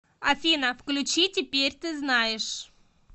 афина включи теперь ты знаешь